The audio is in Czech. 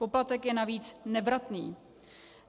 Poplatek je navíc nevratný.